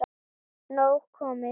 Nóg komið